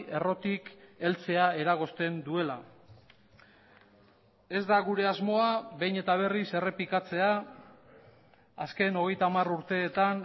errotik heltzea eragozten duela ez da gure asmoa behin eta berriz errepikatzea azken hogeita hamar urteetan